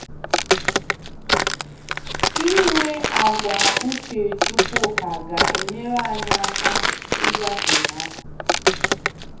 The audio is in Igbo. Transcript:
Ịnwe àgwà uche Chukwuka ga-enyere anyị aka ịgafe ha.